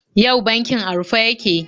Yau bankin a rufe yake.